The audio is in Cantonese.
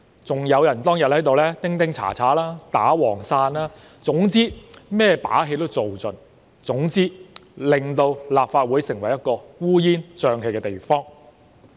此外，當日亦有人在此敲鑼敲鼓、打黃傘，總之做盡一切把戲，令立法會變成一個烏煙瘴氣的地方。